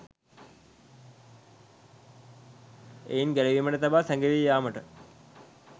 එයින් ගැලවීමට තබා සැඟවී යාමට